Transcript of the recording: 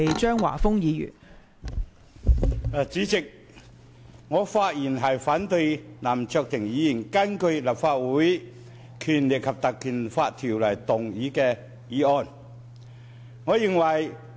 代理主席，我發言反對林卓廷議員根據《立法會條例》動議的議案。